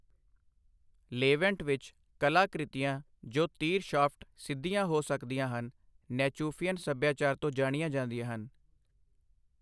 Levant ਵਿੱਚ, ਕਲਾ ਕ੍ਰਿਤੀਆਂ ਜੋ ਤੀਰ ਸ਼ਾਫਟ ਸਿੱਧੀਆਂ ਹੋ ਸਕਦੀਆਂ ਹਨ, ਨੈਚੁਫੀਅਨ ਸੱਭਿਆਚਾਰ ਤੋਂ ਜਾਣੀਆਂ ਜਾਂਦੀਆਂ ਹਨ।